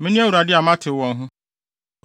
Mene Awurade a matew wɔn ho.